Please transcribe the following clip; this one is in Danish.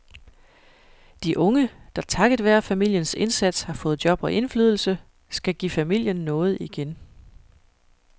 De unge, der takket være familiens indsats har fået job og indflydelse, skal give familien noget igen.